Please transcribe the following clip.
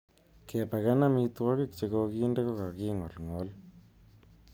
Kepaken amitwogik che kokinde ko ka ki ngolngol.